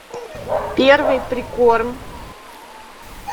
первый прикорм